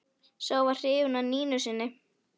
Sá var hrifinn af Nínu sinni.